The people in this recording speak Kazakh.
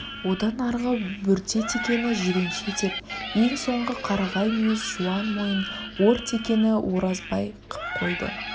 одан арғы бөрте текені жиренше деп ең соңғы қарағай мүйіз жуан мойын ор текені оразбай қып қойды